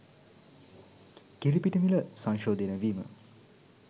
කිරිපිටි මිල සංශෝධනය වීම